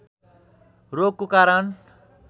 रोगको कारण